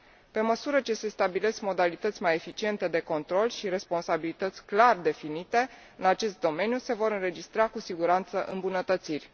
Pe măsură ce se stabilesc modalități mai eficiente de control și responsabilități clar definite în acest domeniu, se vor înregistra cu siguranță îmbunătățiri.